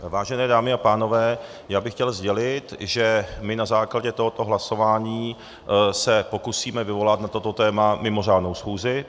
Vážené dámy a pánové, já bych chtěl sdělit, že my na základě tohoto hlasování se pokusíme vyvolat na toto téma mimořádnou schůzi.